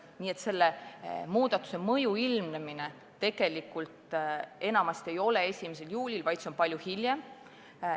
Nii et muudatuse põhimõju ei ilmne 1. juulil, vaid palju hiljem.